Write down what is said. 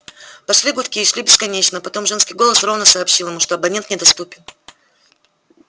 пошли гудки и шли бесконечно потом женский голос ровно сообщил ему что абонент недоступен